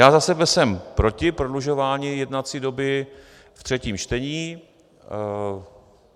Já za sebe jsem proti prodlužování jednací doby ve třetím čtení.